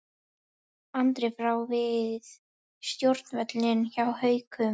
Andri áfram við stjórnvölinn hjá Haukum